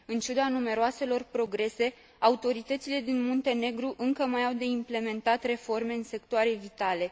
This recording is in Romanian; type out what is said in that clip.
În ciuda numeroaselor progrese, autoritățile din Muntenegru încă mai au de implementat reforme în sectoare vitale.